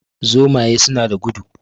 Zomaye suna da gudu